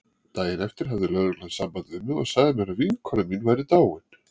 Daginn eftir hafði lögreglan samband við mig og sagði mér að vinkona mín væri dáin.